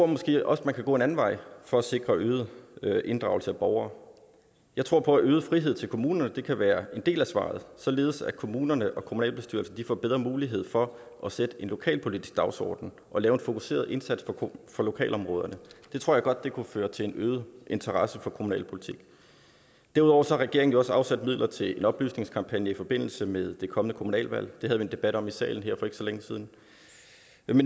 måske også kan gå en anden vej for at sikre øget inddragelse af borgere jeg tror på at øget frihed til kommunerne kan være en del af svaret således at kommunerne og kommunalbestyrelserne får bedre mulighed for at sætte en lokalpolitisk dagsorden og lave en fokuseret indsats for lokalområderne det tror jeg godt kunne føre til en øget interesse for kommunalpolitik derudover har regeringen jo også afsat midler til en oplysningskampagne i forbindelse med det kommende kommunalvalg det havde vi en debat om i salen her for ikke så længe siden